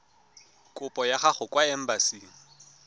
kopo ya gago kwa embasing